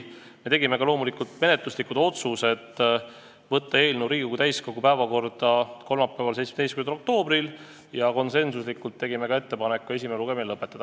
Me tegime loomulikult menetluslikud otsused: saata eelnõu Riigikogu täiskogu päevakorda kolmapäevaks, 17. oktoobriks ja konsensuslikult tegime ettepaneku esimene lugemine lõpetada.